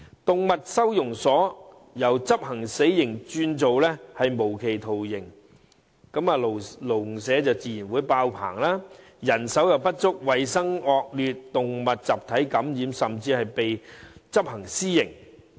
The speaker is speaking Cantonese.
動物收容所由執行"死刑"轉為"無期徒刑"，籠舍自然迫爆，導致人手不足、衞生惡劣、動物集體感染，甚至被執行私刑。